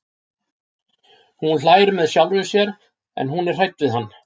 Hún hlær með sjálfri sér en hún er hrædd við hann.